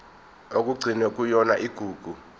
okugcinwe kuyona igugu